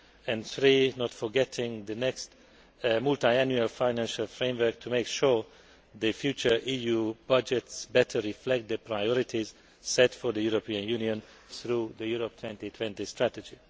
and not forgetting, thirdly, the next multiannual financial framework to make sure the future EU budgets better reflect the priorities set for the European Union through the Europe 2020 strategy.